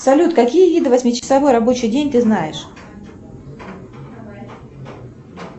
салют какие виды восьмичасовой рабочий день ты знаешь